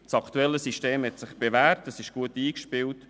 Das aktuelle System hat sich bewährt und ist gut eingespielt.